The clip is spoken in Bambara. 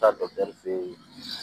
Taa